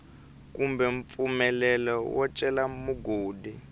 kumbe mpfumelelo wo cela mugodi